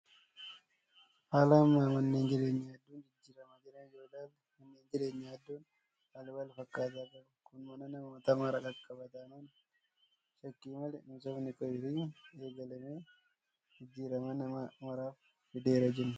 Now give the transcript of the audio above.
Haala amma manneen jireenyaa hedduun jijjiiramaa jiraniin yoo ilaalle manneen jireenyaa hedduun halluu wal fakkaataa qabu. Kun mana namoota maraa qaqqaba taanaan shakkii malee misoomni koriidarii eegalame jijjiirama nama maraaf fideera jenna.